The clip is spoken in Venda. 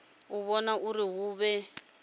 u vhona uri hu vhe